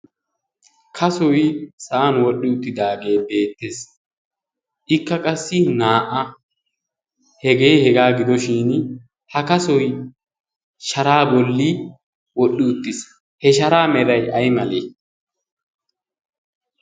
kasoi sa'an wodhdhi uttidaagee beettees ikka qassi naa"a hegee hegaa gidoshin ha kasoi sharaa bolli wodhdhi uttiis he sharaa meray ay malee?